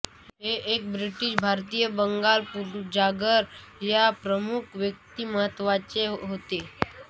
हे एक ब्रिटिश भारतीय बंगाल पुनर्जागरण या प्रमुख व्यक्तिमत्त्वाचे होते